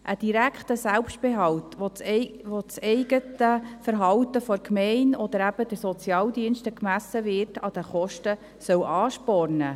Ein direkter Selbstbehalt, bei dem das eigene Verhalten der Gemeinde, oder eben der Sozialdienste, an den Kosten gemessen wird, soll anspornen.